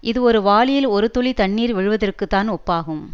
இது ஒரு வாளியில் ஒரு துளி தண்ணீர் விழுவதற்குத்தான் ஒப்பாகும்